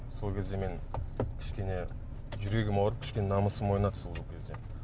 сол кезде мен кішкене жүрегім ауырып кішкене намысым ойнады сол кезде